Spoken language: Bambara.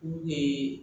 U ye